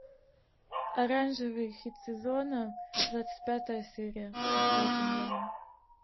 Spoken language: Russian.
оранжевый хит сезона двадцать пятая серия смотреть онлайн